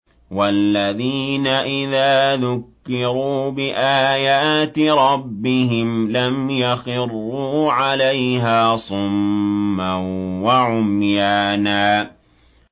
وَالَّذِينَ إِذَا ذُكِّرُوا بِآيَاتِ رَبِّهِمْ لَمْ يَخِرُّوا عَلَيْهَا صُمًّا وَعُمْيَانًا